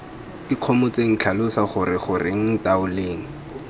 ikgomotseng tlhalosa gore goreng ntaoleng